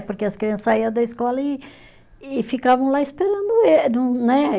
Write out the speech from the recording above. Porque as crianças saía da escola e e ficavam lá esperando ele no, né?